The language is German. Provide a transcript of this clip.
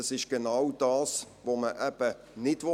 Das ist genau das, was man eben nicht will.